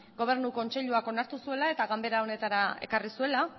gobernu kontseiluak onartu zuela eta ganbera honetara ekarri zuela